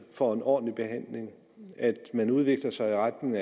får en ordentlig behandling og at man udvikler sig retning